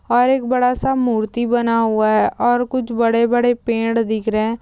और एक बड़ा-सा मूर्ति बना हुआ है और कुछ बड़े-बड़े पेड़ दिख रहे है।